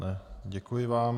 Ne, děkuji vám.